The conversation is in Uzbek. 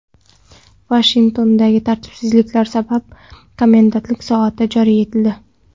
Vashingtonda tartibsizliklar sabab komendantlik soati joriy etildi.